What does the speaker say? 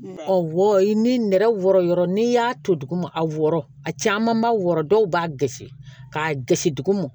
Ɔ wɔ i ni nɛrɛ wɔrɔyɔrɔ n'i y'a to duguma a wɔɔrɔ a caman ba wɔɔrɔ dɔw b'a gosi k'a gosi duguma